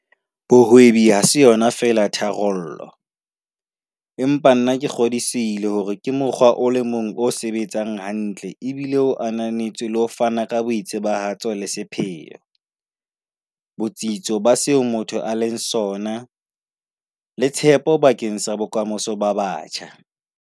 Bohwebi ha se yona feela tharollo, empa nna ke kgodisehile hore ke mokgwa o le mong o sebetsang hantle obile o ananetswe re o fana ka boitsebahatso le sepheo, botsitso ba seo motho a leng sona, le tshepo bakeng sa bokamoso ba batjha.